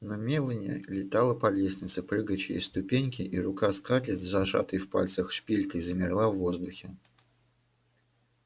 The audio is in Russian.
но мелани летала по лестнице прыгая через ступеньки и рука скарлетт с зажатой в пальцах шпилькой замерла в воздухе